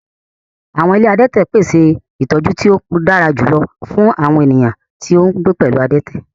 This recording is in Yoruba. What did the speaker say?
Awọn ile adẹtẹ pese itọju ti o dara julọ fun awọn eniyan ti n gbe pẹlu adẹtẹ